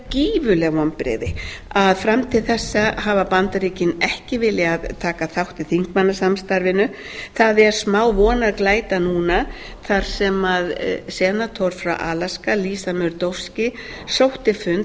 gífurleg vonbrigði að fram til þessa hafa bandaríkin ekki viljað taka þátt í þingmannasamstarfinu það er smávonarglæta núna þar sem senator frá alaska lisa murdovksi sótti fund